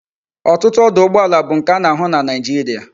Otutu ọdụ̀ụgbọàlà bu nke a na ahu na naijiria